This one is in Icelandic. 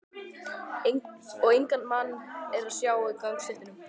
Og engan mann er að sjá á gangstéttunum.